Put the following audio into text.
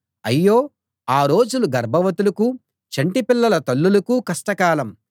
అయ్యో ఆ రోజులు గర్భవతులకూ చంటిపిల్లల తల్లులకూ కష్టకాలం